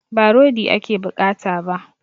Ba rodi ake bukata ba